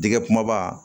Dɛgɛ kumaba